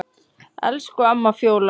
Elsku amma Fjóla.